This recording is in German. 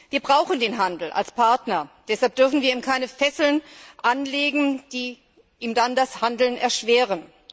Wir brauchen den Handel als Partner, deshalb dürfen wir ihm keine Fesseln anlegen, die ihm dann das Handeln erschweren.